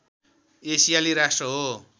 एसियाली राष्ट्र हो